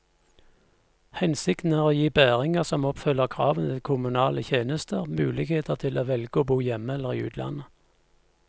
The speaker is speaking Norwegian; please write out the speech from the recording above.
Hensikten er å gi bæringer som oppfyller kravene til kommunale tjenester, mulighet til å velge å bo hjemme eller i utlandet.